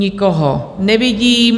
Nikoho nevidím.